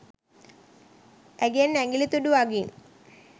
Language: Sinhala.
ඇගෙන් ඇගිලි තුඩු අගින්